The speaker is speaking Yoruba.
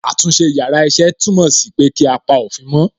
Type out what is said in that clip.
Àtúnṣe yàrá iṣẹ́ túmọ̀ sí pé kí á pa òfin mó.